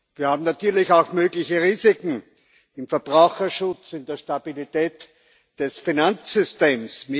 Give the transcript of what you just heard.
Wir haben natürlich auch mögliche Risiken im Verbraucherschutz, in der Stabilität des Finanzsystems.